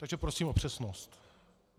Takže prosím o přesnost.